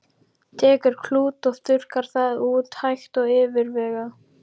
Tekur klút og þurrkar það út, hægt og yfirvegað.